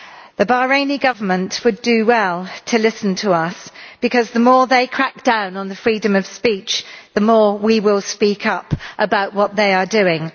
The Bahraini Government would do well to listen to us, because the more they crack down on the freedom of speech, the more we will speak up about what they are doing.